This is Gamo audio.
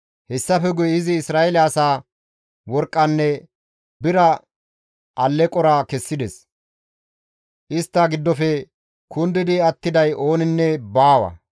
Hessafe guye izi Isra7eele asaa worqqanne bira alleqora kessides; istta giddofe kundidi attiday ooninne baawa.